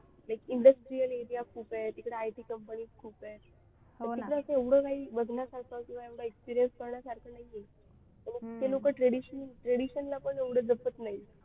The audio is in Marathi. Industrial area खूप आहे तिकडे IT companies खूप आहे तिकडे असं एवढं काही बघण्यासारखं किंवा एवढं experience करण्यासारखं नाही आहे ते लोक traditional ला पण एवढं जमत नाहीत.